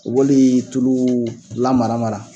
Wele tulu lamara mara